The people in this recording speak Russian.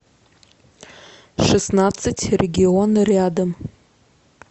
шестнадцать регион рядом